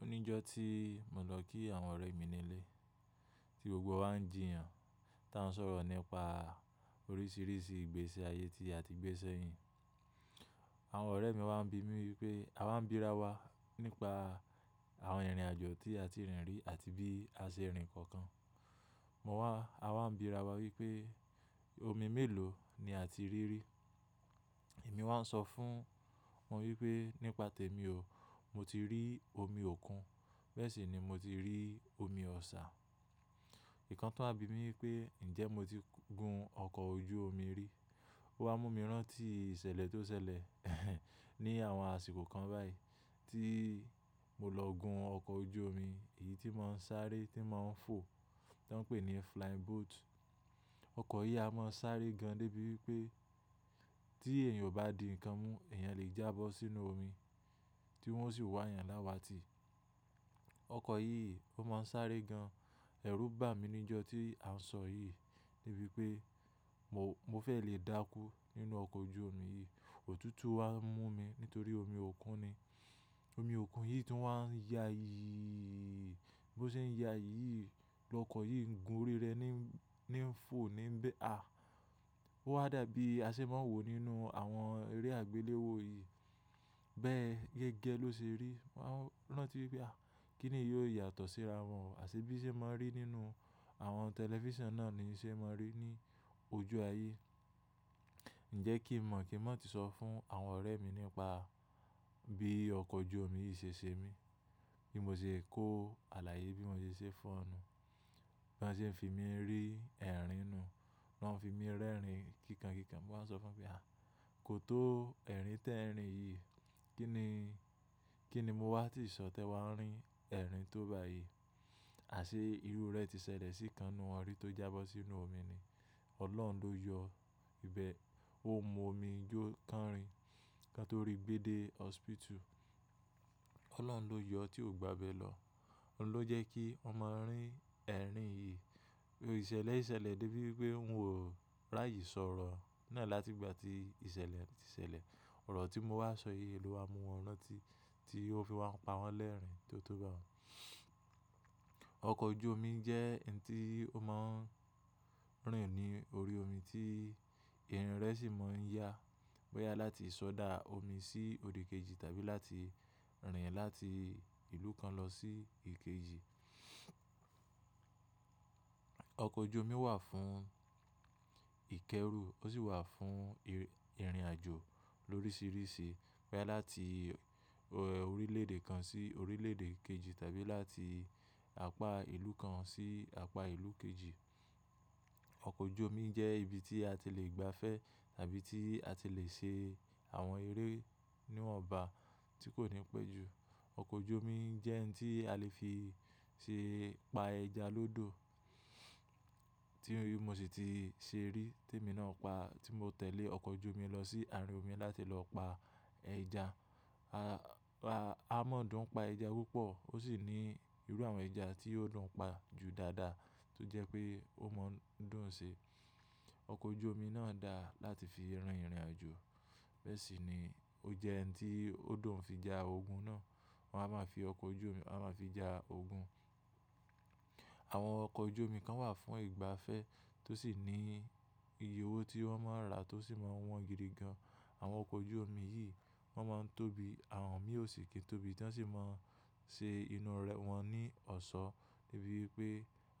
Ó ní ọjọ́ tí mo lọ kí àwọn ọ̀rẹ́ mi nílé tí gbogbo wa ń jíyàn, tá ń sọ̀rọ̀ nípa oríṣiríṣi ìgbésí ayé tí a ti gbé sẹ́yìn. Àwọn ọ̀rẹ́ mi wá ń bi mí wípé a wá ń bírà wa nípa àwọn ìrìnàjò tí a ti rìn rí àti bí a ṣe rìn kankan. Mo wá, a wá ń bírà wa wípé omi mélòó ni a ti rí rí. Èmi wá ń sọ fún wọn wípé nípa tèmi o, mo ti rí omi òkun, bẹ́ẹ̀ sì ni mo ti rí omi Ọ̀ṣà. Ìkan tán àbí mi wípé ǹjẹ́ mo ti gún ọkọ̀ ojú omi rí. Ó wá mú mi rántí ìṣẹ̀lẹ̀ tó ṣẹlẹ̀ ehn ní àwọn àsìkò kan báyìí tí mo lọ gún ọkọ̀ ojú omi, èyí tí ń máa ń sáré tí ń máa ń fò, tí wọ́n ń pè ní flying boat. Ọkọ̀ yìí a máa ń sáré gan dé bí wípé tí èèyàn ò bá di ǹkan mú, èèyàn lè jábọ́ sínú omi tí wọ́n sì wá èèyàn láwà tí. Ọkọ̀ yìí ó máa ń sáré gan. Ẹ̀rù bà mí ní ọjọ́ tí à ń sọ yìí níbí wípé mo, mo fẹ́ lè dákú nínú ọkọ̀ ojú omi yìí. Òtútù wá mú mi nítorí omi òkun ni. Omi òkun yìí tí wọ́n á ń ya yìí, bí ó ṣe ń ya yìí lọkọ̀ yìí ń gun orí rẹ̀ ní ń, ní ń fò níbẹ̀. À! Ó wá dàbí aṣé ma wò nínú àwọn eré àgbéléwò yìí. Bẹ́ẹ̀ gẹ́gẹ́ ló ṣe rí. Wá ń rántí wípé à, kí ni yóò yàtọ̀ síra wọn àṣé bí ṣe máa ń rí nínú àwọn tẹlifíṣàn náà ni ṣe máa ń rí ní ojú aye. Ǹjẹ́ kí mọ̀ kí mọ́ ti sọ fún àwọn ọ̀rẹ́ mi nípa bí ọkọ̀ ojú omi yìí ṣe ṣe mí, bí mo ṣe kó àláye yìí, bí mo ṣe ṣe fun won, bí wọ́n ṣe ń fi mí ń rí ẹ̀rín nù. Wọ́n fi mí rẹ́rìn kíkankíkan. Mo wá ń sọ fún wọn pé à, kò tó ẹ̀rín tẹ́ ẹ̀rín yìí. Kí ni, kí ni mo wá ti sọ̀tẹ́ wá ń rín ẹ̀rín tó bá yìí. Àṣé irú rẹ̀ ti ṣẹlẹ̀ sí ìkan ninu won ọ̀rì tó jábọ́ sínú omi ni. Ọlọ́run ló yọ ìbẹ. Ó mú omi yoó kánrìn kán tó rí gbédè hospital. Ọlọ́run ló yọ tí ó gbà bẹ́ẹ̀ lọ. Ọlọ́run ló jẹ́ kí ọmọ ń rín ẹ̀rín yìí. Ìṣẹ̀lẹ̀ ìṣẹ̀lẹ̀ dé bí wípé n ò rààyè sọ̀rọ̀ nílẹ̀ láti ìgbà tí ìṣẹ̀lẹ̀ ti ṣẹlẹ̀. Ọ̀rọ̀ tí mo wá sọ yìí, èlò wa mú wọn rántí tí ó fi wá pa wọ́n lẹ́rìn tí ó tó bá wọn. Ọkọ̀ ojú omi jẹ́ ǹ tí ó máa ń rìn ní orí omi tí irin rẹ̀ sì máa ń yá. Ó yá láti ṣọdá omi sí òdì kejì tàbí láti rìn láti ìlú kan lọ sí ìkejì. Ọkọ̀ ojú omi wà fún ìkẹ́rù, ó sì wà fún ìrìnàjò lórísiríṣi, pé láti orílẹ̀èdè kan sí orílẹ̀èdè kejì tàbí láti àpá ìlú kan sí àpá ìlú kejì. Ọkọ̀ ojú omi jẹ́ ibi tí a ti lè gbafẹ́ tàbí tí a ti lè ṣe àwọn eré inú ọgbà tí kò ní pẹ́ jù. Ọkọ̀ ojú omi jẹ́ ǹ tí a lè fi ṣe pa ẹja lọ́dọ̀ tí mo sì ti ṣe rí tí èmi náà pa, tí mo tẹ̀lé ọkọ̀ ojú omi lọ sí àárín omi láti lọ pa ẹja ah A, a mọ́ dùn pa ẹja púpọ̀ ó sì ní irú àwọn ẹja tí ó dùn pa ju dáadáa tó jẹ́ pé ó máa ń dùn ń ṣe. Ọkọ̀ ojú omi náà dáa láti fi rìn ìrìnàjò, bẹ́ẹ̀ sì ni ó jẹ́ ǹ tí ó dùn fi ja ogun náà. Wọn a máa fi ọkọ̀ ojú omi, a máa fi ja ogun. Àwọn ọkọ̀ ojú omi kan wà fún ìgbafẹ́ tó sì ní iye owó tí wọ́n máa ń rà tó sì máa wọ́n gidi gan. Àwọn ọkọ̀ ojú omi yìí wọ́n máa ń tóbi, àwọn mí ò sì kín tóbi tí wọ́n sì máa ń ṣe inú rẹ̀ wọ́n ní ọ̀ṣọ́ dé bí wípé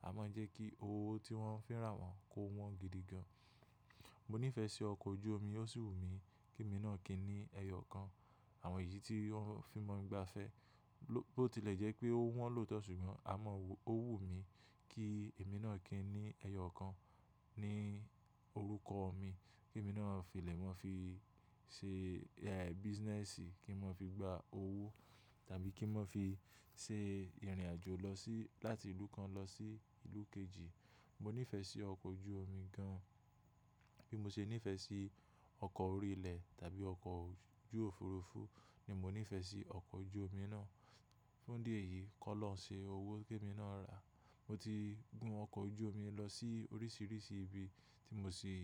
a máa ń jẹ́ kí owó tí wọ́n ń fẹ́ rà wọ́n kó wọ́n gidi gan. Mo níìfẹ̀ẹ́ sí ọkọ̀ ojú omi, ó sì wù mí kí èmi náà kí ni ẹyọ kan. Àwọn èyí tí wọ́n fi ń mọ ìgbafẹ́ ló ti lè jẹ́ pé ó wọ́n lòótọ́ ṣùgbọ́n a mọ́ owó wù mí kí èmi náà kí ni ẹyọ kan ní orúkọ mi. Kí èmi náà filẹ̀ wọn fi ṣe, eh, business kí wọn fi gba owó tàbí kí wọn fi ṣe ìrìnàjò lọ sí, láti ìlú kan lọ sí ìlú kejì. Mo níìfẹ̀ẹ́ sí ọkọ̀ ojú omi gan an. Bí mo ṣe níìfẹ̀ẹ́ sí ọkọ̀ orí ilẹ̀ tàbí ọkọ̀ ojú òfuurufú ni mo níìfẹ̀ẹ́ sí ọkọ̀ ojú omi náà. Fún díẹ̀ yìí, K'ọ́lọ̀hun ń ṣe owó kí èmi náà rà. Mo ti gún ọkọ̀ ojú omi lọ sí oríṣiríṣi ibi tí mo sì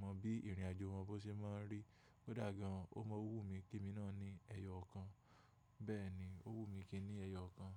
mọ bí ìrìnàjò wọn bó ṣe máa ń rí. Ó dà gan, ó mọ́ owó wù mí kí èmi náà ní ẹyọ kan. Bẹ́ẹ̀ ni ó wù mí kí ni ẹyọ kan.